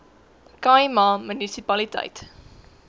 khai ma munisipaliteit